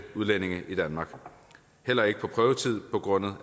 udlændinge i danmark heller ikke på prøvetid begrundet